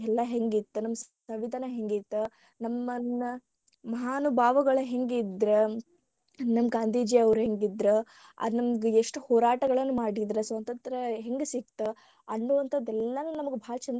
ಎಲ್ಲಾ ಹೆಂಗಿತ್ತ ನಮ್ಮ ಸಂವಿದಾನ ಹೆಂಗಿತ್ತ ನಮ್ಮನ್ನ ಮಹಾನುಭಾವಗಳು ಹೆಂಗಿದ್ರ ನಮ್ಮ ಗಾಂಧೀಜಿಯವರ ಹೆಂಗಿದ್ರ ಅದ ನಮಗ ಎಷ್ಟ ಹೋರಾಟಗಳನ್ನು ಮಾಡಿದರ ಸ್ವತಂತ್ರ ಹೆಂಗ ಸಿಗ್ತ ಅನ್ನುವಂತಾದ ಎಲ್ಲಾನು ನಮಗ ಬಾಳ ಚಂದ.